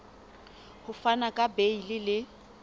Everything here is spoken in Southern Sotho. ho fana ka beile le